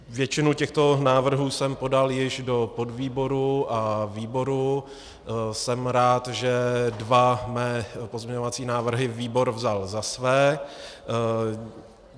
Většinu těchto návrhů jsem podal již do podvýboru a výboru, jsem rád, že dva mé pozměňovací návrhy výbor vzal za své.